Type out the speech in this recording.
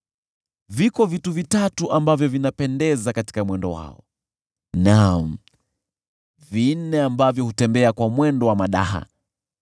“Viko vitu vitatu ambavyo vinapendeza katika mwendo wao, naam, vinne ambavyo hutembea kwa mwendo wa madaha: